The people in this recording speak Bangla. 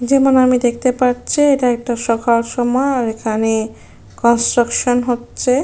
যেমন আমি দেখতে পাচ্ছি এটা একটা সকাল সময়। আর এখানে কনস্ট্রাকশন হচ্ছে।